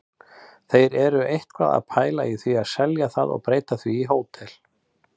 Þeir eru eitthvað að pæla í að selja það og breyta því í hótel.